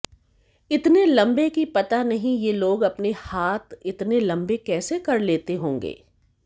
इतने लंबे कि पता नहीं ये लोग अपने हाथ इतने लंबे कैसे कर लेते होंगे